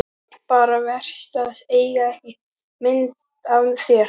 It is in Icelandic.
Bara verst að eiga ekki mynd af þér.